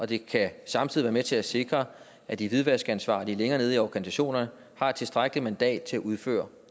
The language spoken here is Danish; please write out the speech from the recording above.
det kan samtidig være med til at sikre at de hvidvaskansvarlige længere nede i organisationerne har et tilstrækkeligt mandat til at udføre